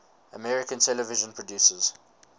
american television producers